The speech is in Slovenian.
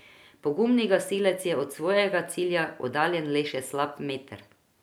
Pogumni gasilec je od svojega cilja oddaljen le še slab meter.